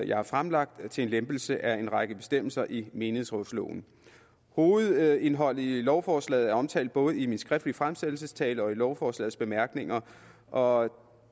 jeg har fremlagt til en lempelse af en række bestemmelser i menighedsrådsloven hovedindholdet i lovforslaget er omtalt både i min skriftlige fremsættelsestale og i lovforslagets bemærkninger og